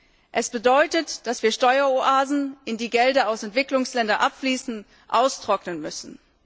Sie bedeutet, dass wir Steueroasen, in die Gelder aus Entwicklungsländern abfließen, austrocknen müssen.